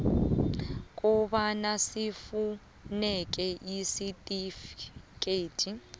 kobana sifuneke isitifikedi